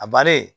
A bari